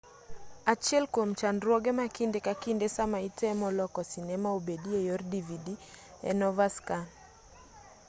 achiel kwom chandruoge ma kinde ka kinde sama itemo loko sinema obedi e yor dvd en overscan